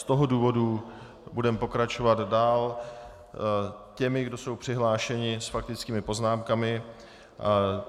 Z toho důvodu budeme pokračovat dál těmi, kdo jsou přihlášeni s faktickými poznámkami.